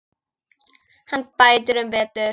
Hann bætir um betur.